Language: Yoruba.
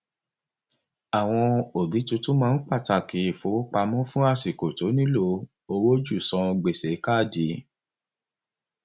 àwọn òbí túntún máa ń pàtàkì ìfowópamọ fún àsìkò tó nílò owó ju san gbèsè káàdì